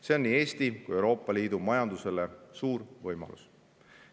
See on nii Eesti kui ka Euroopa Liidu majandusele suur võimalus.